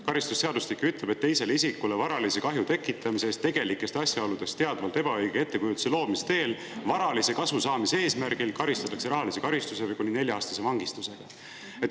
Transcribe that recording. Karistusseadustik ütleb, et teisele isikule varalise kahju tekitamise eest tegelikest asjaoludest teadvalt ebaõige ettekujutuse loomise teel varalise kasu saamise eesmärgil karistatakse rahalise karistuse või kuni nelja-aastase vangistusega.